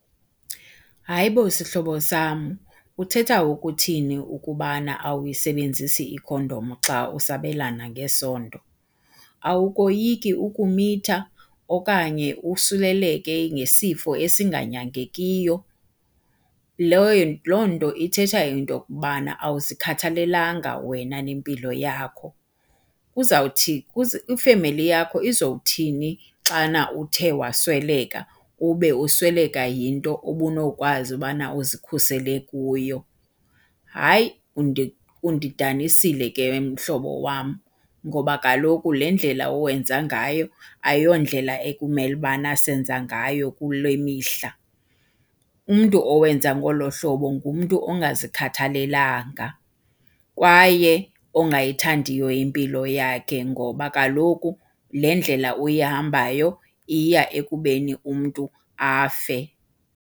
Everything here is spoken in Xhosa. Hayi bo, sihlobo sam uthetha ukuthini ukubana awuyisebenzisi ikhondom xa usabelana ngesondo? Awukoyiki ukumitha okanye usuleleke ngesifo esinganyangekiyo? Loo nto ithetha into yokubana awuzikhathalelanga wena nempilo yakho. Ifemeli yakho izowuthini xana uthe wasweleka ube usweleka yinto obunokwazi bana uzikhusele kuyo. Hayi undidanisile ke mhlobo wam ngoba kaloku le ndlela wenza ngayo ayiyondlela ekumele ukubana senza ngayo kule mihla. Umntu owenza ngolo hlobo ngumntu ongazikhathalelanga kwaye ongayithandiyo impilo yakhe ngoba kaloku le ndlela uyihambayo iya ekubeni umntu afe.